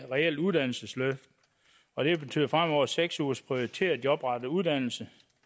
reelt uddannelsesløft og det betyder fremover seks ugers prioriteret jobrettet uddannelse